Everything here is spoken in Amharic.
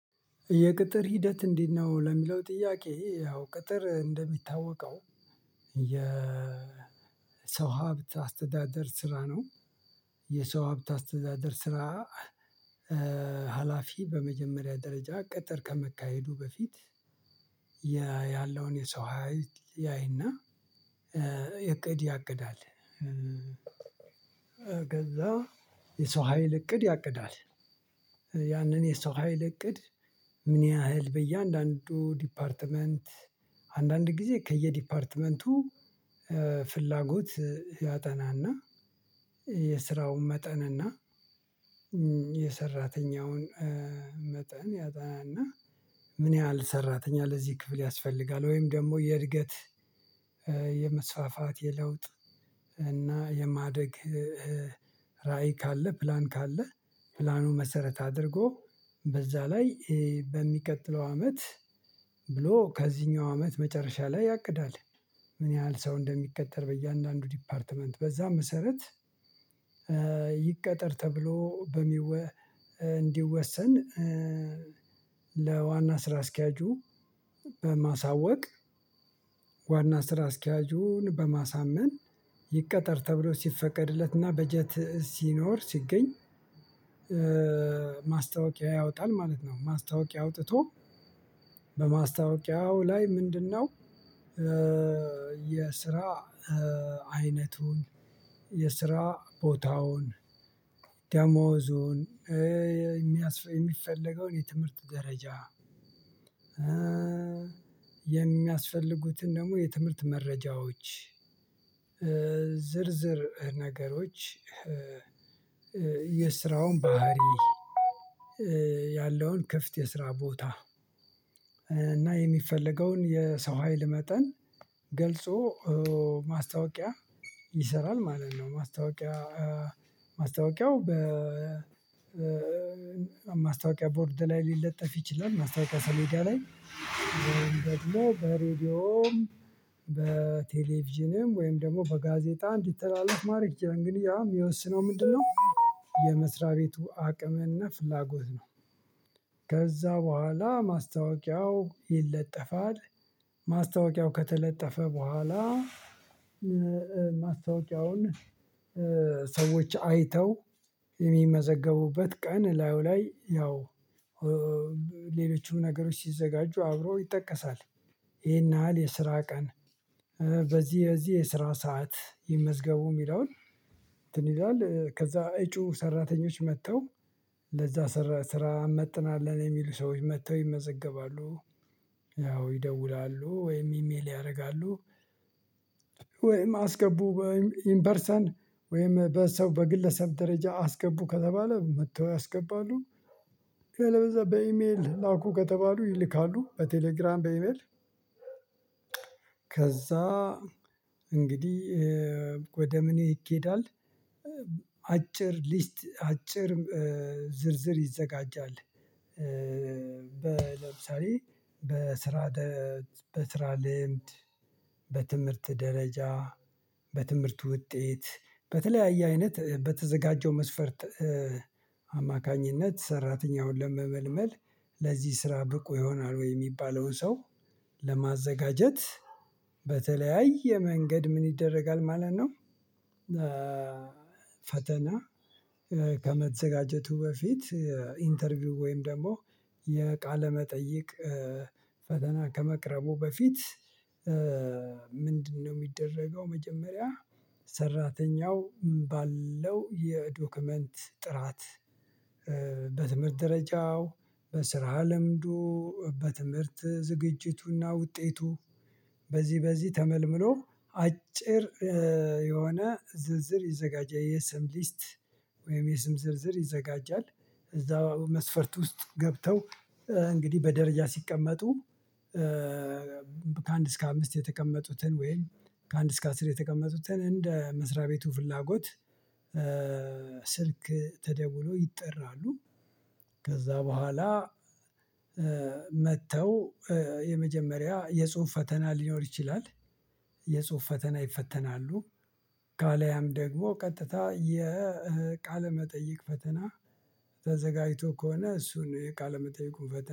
የቅጥር ሂደት እንዴት ነው? ለሚለው ጥያቄ ያው ቅጥር እንደሚታወቀው። የሰው ሀብት አስተዳደር ስራ ነው። የሰው ሀብት አስተዳደር ስራ። ሀላፊ በመጀመሪያ ደረጃ ቅጠር ከመካሄዱ በፊት። ያለውን የሰው ሀይል ያይና እቅድ ያቅዳል። ከዛ የሰው ሀይል እቅድ ያቅዳል። ያንን የሰው ሀይል እቅድ ምን ያህል በየአንዳንዱ ዲፓርትመንት? አንዳንድ ጊዜ ከየዲፓርትመንቱ ፍላጎት ያጠናና የስራውን መጠንና የሰራተኛውን መጠን ያጠናና ምን ያህል ሰራተኛ ለዚህ ክፍል ያስፈልጋል? ወይም ደግሞ የእድገት የመስፋፋት የለውጥ እና የማደግ ራዕይ ካለ ፕላን ካለ ፕላኑ መሰረት አድርጎ በዛ ላይ በሚቀጥለው አመት ብሎ ከዚህኛው አመት መጨረሻ ላይ ያቅዳል ምን ያህል ሰው እንደሚቀጠር በ እያንዳንዱ ዲፓርትመንት በዛ መሰረት። ይቀጠር ተብሎ በሚወ እንዲወሰን። ለዋና ስራ አስኪያጁ በማሳወቅ ዋና ስራ አስኪያጁን በማሳመን ይቀጠር ተብሎ ሲፈቀድለትና በጀት ሲኖር ሲገኝ። ማስታወቂያ ያወጣል ማለት ነው። ፅማስታወቂያ አውጥቶ በማስታወቂያው ላይ ምንድነው? የስራ አይነቱን የስራ ቦታውን ደሞዙን የሚፈለገውን የትምህርት ደረጃ የሚያስፈልጉትን ደግሞ የትምህርት መረጃዎች ዝርዝር ነገሮች የስራውን ባህሪ ያለውን ክፍት የስራ ቦታ እና የሚፈለገውን የሰው ሀይል መጠን ገልጾ ማስታወቂያ ይሰራል ማለት ነው። ማስታወቂያ ማስታወቂያው በ ማስታወቂያ ቦርድ ላይ ሊለጠፍ ይችላል። ማስታወቂያ ሰሌዳ ላይ ደግሞ በሬዲዮም በቴሌቪዥንም ወይም ደግሞ በጋዜጣ እንዲተላለፍ ማረግ ግንኙነትም የሚወስነው ምንድነው? የመስሪያ ቤቱ አቅምህና ፍላጎት ነው። ከዛ በኋላ ማስታወቂያው ይለጠፋል። ማስታወቂያው ከተለጠፈ በኋላ ማስታወቂያውን ሰዎች አይተው የሚመዘገቡበት ቀን እላውላይ ያው ሌሎችም ነገሮች ሲዘጋጁ አብሮ ይጠቀሳል። ይሄን ያህል የስራ ቀን በዚህ በዚህ የስራ ሰዓት ይመዝገቡ የሚለውን እንትን ይላል ከዛ እጩ ሰራተኞች መጥተው ለዛ ስራ መጥናለን የሚሉ ሰዎች መጥተው ይመዘገባሉ። ያው ይደውላሉ ወይም ኢሜል ያደርጋሉ። ወይም አስገቡ ወይም ኢንፐርሰን ወይም በሰው በግለሰብ ደረጃ አስገቡ ከተባለ መጥተው ያስገባሉ። አለበለዚያ በይሜል ላኩ ከተባሉ ይልካሉ በ ቴሌግራም በ ኢሜል። ከዛ እንግዲህ ወደ ምኔ ይኬዳል? አጭር ሊስት አጭር ዝርዝር ይዘጋጃል። ለምሳሌ በስራ በስራ ልምድ በትምህርት ደረጃ በትምህርት ውጤት በተለያየ አይነት በተዘጋጀው መስፈርት አማካኝነት ሰራተኛውን ለመመልመል ለዚህ ስራ ብቁ ይሆናል ወይ የሚባለውን ሰው ለማዘጋጀት በተለያየ መንገድ ምን ይደረጋል ማለት ነው። ፈተና ከመዘጋጀቱ በፊት ኢንተርቪው ወይም ደግሞ የቃለ መጠይቅ ፈተና ከመቅረቡ በፊት ምንድነው? የሚደረገው መጀመሪያ ሰራተኛው ባለው የዶክመንት ጥራት በትምህርት ደረጃው በስራ ለምዶ በትምህርት ዝግጅቱና ውጤቱ በዚህ በዚህ ተመልምሮ አጭር የሆነ ዝንዝር ይዘጋጃል የሰምሊስት ወይም የስም ዝርዝር ይዘጋጃል። እዛ መስፈርት ውስጥ ገብተው እንግዲህ በደረጃ ሲቀመጡ። ከአንድ እስከ አምስት የተቀመጡትን ወይም ከአንድ እስከ አስር የተቀመጡትን እንደ መስሪያ ቤቱ ፍላጎት። ስልክ ተደውሎ ይጠራሉ። ከዛ በኋላ መጥተው የመጀመሪያ የጽሁፍ ፈተና ሊኖር ይችላል። የጽሁፍ ፈተና ይፈተናሉ። ካላያም ደግሞ ቀጥታ የቃለ መጠይቅ ፈተና ተዘጋጅቶ ከሆነ እሱን የቃለ መጠይቁን ፈተና